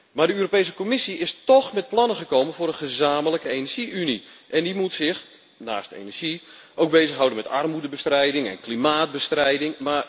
Maar de Europese Commissie is toch met plannen gekomen voor een gezamenlijke energie unie en die moet zich naast energie ook bezighouden met armoedebestrijding en klimaatbestrijding.